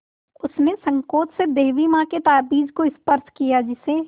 उसने सँकोच से देवी माँ के ताबीज़ को स्पर्श किया जिसे